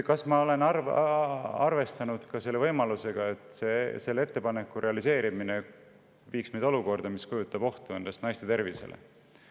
Kas ma olen arvestanud selle võimalusega, et selle ettepaneku realiseerimine viiks meid olukorda, mis kujutab ohtu naiste tervisele?